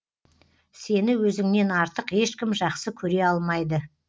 сені өзіңнен артық ешкім жақсы көре алмайды